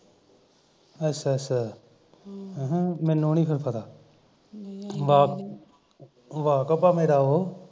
ਅੱਛਾ ਅੱਛਾ ਹਮ ਅਹ ਮੈਨੂੰ ਨੀ ਫਿਰ ਪਤਾ ਵਾ ਵਾਕਬ ਆ ਮੇਰਾ ਉਹ